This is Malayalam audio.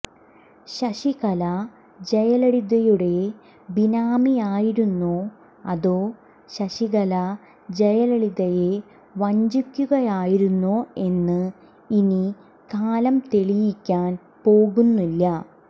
ശശികല ജയലളിതയുടെ ബിനാമിയായിരുന്നോ അതോ ശശികല ജയലളിതയെ വഞ്ചിക്കുകയായിരുന്നോ എന്ന് ഇനി കാലം തെളിയിക്കാൻ പോകുന്നില്ല